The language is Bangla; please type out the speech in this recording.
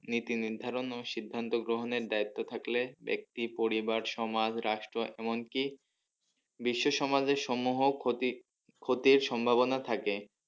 নীতি নির্ধারণ ও সিদ্ধান্ত গ্রহণের দায়িত্ব থাকলে ব্যাক্তি পরিবার সমাজ রাষ্ট্র এমনকি বিশ্ব সমাজের সমহ ক্ষতি ক্ষতির সম্ভবনা থাকে।